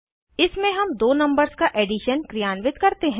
इसमें हम दो नंबर्स का एडिशन क्रियान्वित करते हैं